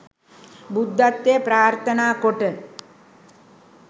බුද්ධත්වය ප්‍රාර්ථනා කොට